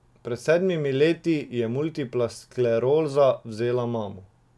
Pred sedmimi leti ji je multipla skleroza vzela mamo.